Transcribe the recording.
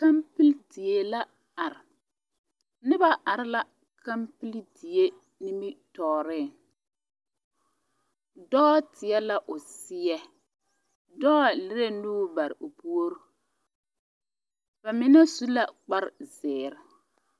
kapeele die la are noba are la kapeele die niminoɔre dɔɔ teɛ la o seɛ dɔɔ lere nuuri bare o puori bamine su la kpare zeɛre